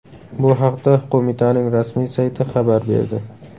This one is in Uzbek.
Bu haqda qo‘mitaning rasmiy sayti xabar berdi .